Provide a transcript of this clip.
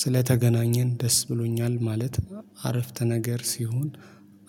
ስለተገናኘን ደስ ብሎኛል ማለት አረፍተ ነገር ሲሆን